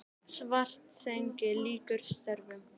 Svartsengi lýkur störfum.